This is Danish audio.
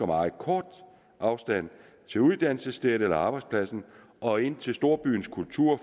meget kort afstand til uddannelsesstedet eller arbejdspladsen og ind til storbyens kultur